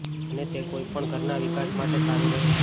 અને તે કોઈ પણ ઘરના વિકાસ માટે સારું રહે છે